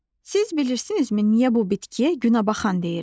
Siz bilirsinizmi niyə bu bitkiyə günəbaxan deyirlər?